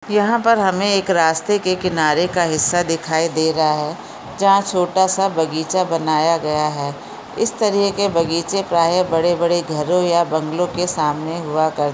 यहाँ पर एक रास्ता के किनारे का हिसा दिखाई दे रहा है जहाँ छोटासा बगीचा बनया गया है इस तरीके से बगीचे प्राय बड़े बड़े घरों या बंगलो के सामने हुआ करते है।